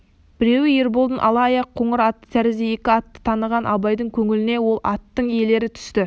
біреуі ерболдың ала аяқ қоңыр аты тәрізді екі атты таныған абайдың көңіліне ол аттың иелері түсті